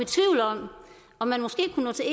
om man måske kunne nå til